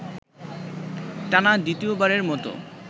টানা দ্বিতীয়বারের মতো